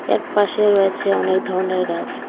এক পাশে রয়েছে অনেক ধরনের গাছ।